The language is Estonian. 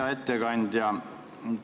Hea ettekandja!